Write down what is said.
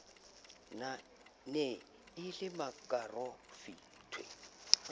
ne e le makaroff nthwe